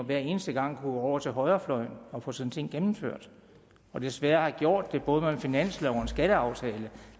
hver eneste gang går over til højrefløjen og får sine ting gennemført og desværre har gjort det både med en finanslov og en skatteaftale